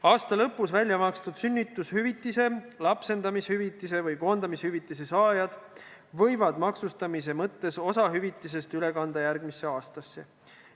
Aasta lõpus välja makstud sünnitushüvitise, lapsendamishüvitise või koondamishüvitise saajad võivad maksustamise mõttes kanda osa hüvitisest üle järgmisesse aastasse.